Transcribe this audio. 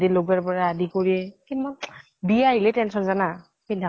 লগৱাৰ পৰা আদি কৰি কিমা বিয়া আহিলে tension জানা পিন্ধা